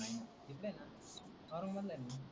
नाही न इकडे आहेन ओरंगाबादला आहे मी.